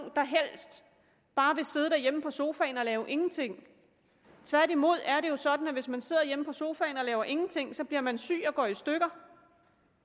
der helst bare vil sidde derhjemme på sofaen og lave ingenting tværtimod er det jo sådan at hvis man sidder hjemme på sofaen og laver ingenting bliver man syg og går i stykker og